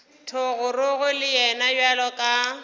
thogorogo le yena bjalo ka